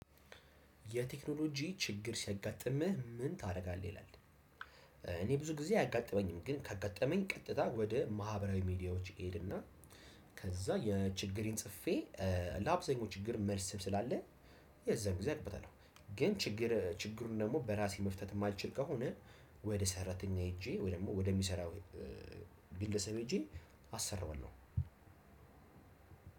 የቴክኖሎጂ ችግር ሲያጋጥምህ ምን ታደርጋለህ? ይላል። እኔ ብዙ ጊዜ አያጋጥመኝም ግን ካጋጠመኝ ቀጥታ ወደ ማህበራዊ ሚዲያዎች እሄድ እና ከዛ ችግሬን ጽፌ ለአብዛኛው ችግር መልስም ስላለ፣ የዛን ጊዜ አውቅበታለው። ግን ችግሩን ደግሞ በራሴ መፍታት የማልችል ከሆነ፣ ወደ ሰራተኛ ሄጄ ወይ ደግሞ ወደሚሰራው ግለሰብ ሄጄ አሰራዋለሁ።